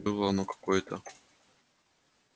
было оно какое-то